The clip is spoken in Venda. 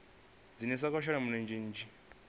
dzhenisa kha u shela mulenzhe